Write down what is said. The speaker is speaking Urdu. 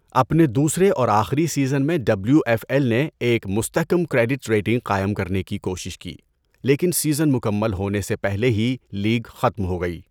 اپنے دوسرے اور آخری سیزن میں ڈبلیو ایف ایل نے ایک مستحکم کریڈٹ ریٹنگ قائم کرنے کی کوشش کی، لیکن سیزن مکمل ہونے سے پہلے ہی لیگ ختم ہو گئی۔